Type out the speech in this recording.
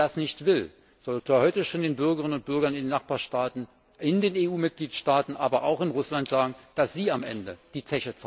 Wer das nicht will, soll heute schon den Bürgerinnen und Bürgern in den Nachbarstaaten, in den EU Mitgliedstaaten, aber auch in Russland sagen, dass sie am Ende die